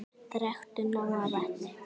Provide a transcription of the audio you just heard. Drekktu nóg af vatni.